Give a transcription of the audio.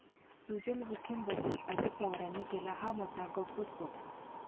सुजय विखेंबद्दल अजित पवारांनी केला हा मोठा गौप्यस्फोट!